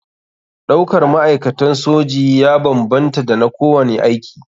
Ɗaukar ma'aikatan soji ya banbanta da na kowane aiki.